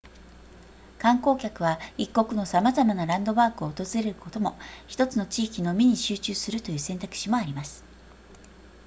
観光客は1国のさまざまなランドマークを訪れることも1つの地域のみに集中するという選択肢もあります